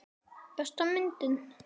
Besta myndin?